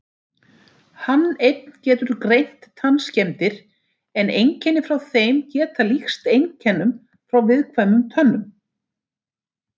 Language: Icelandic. Hann einn getur greint tannskemmdir en einkenni frá þeim geta líkst einkennum frá viðkvæmum tönnum.